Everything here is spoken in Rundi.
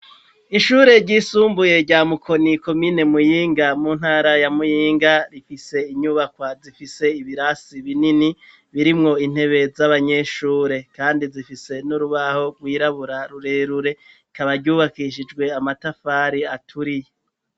Ishure ryisumbuye, rya Mukoni, komine Muyinga, mu ntara ya Muyinga; rifise inyubakwa, zifise ibirasi binini, birimwo intebe, z'abanyeshure; kandi zifise n'urubaho rwirabura, rurerure; rikaba ryubakishijwe, amatafari aturiye.